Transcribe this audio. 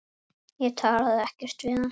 Ég talaði ekkert við hann.